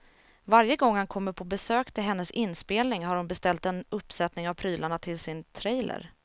Varje gång han kommer på besök till hennes inspelning har hon beställt en uppsättning av prylarna till sin trailer.